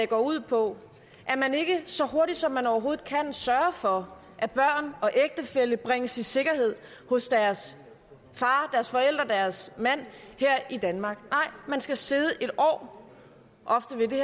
går ud på at man ikke så hurtigt som man overhovedet kan sørger for at børn og ægtefæller bringes i sikkerhed hos deres far deres forældre deres mand her i danmark nej man skal sidde et år ofte vil det